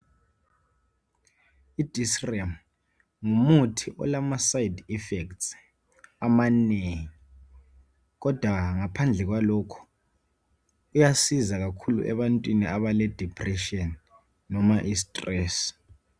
Idesrem ngumuthi olamasayidi ifesti amanengi kodwa ngaphandle kwalokhu uyasiza kakhulu ebantwini abaledipretshini noma istresi.